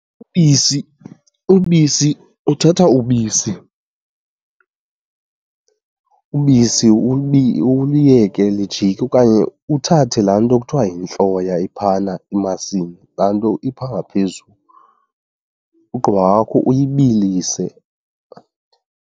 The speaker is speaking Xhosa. Ubisi, ubisi uthatha ubisi , ubisi uliyeke lijike okanye uthathe laa nto kuthiwa yintloya iphayana emasini, laa nto ipha ngaphezulu, ugqiba kwakho uyibilise.